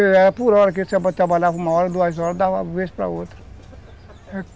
Era por hora que ele uma hora, duas horas, dava vez para outra.